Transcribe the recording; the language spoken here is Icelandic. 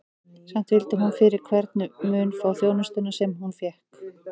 Samt vildi hún fyrir hvern mun fá þjónustuna, sem hún og fékk.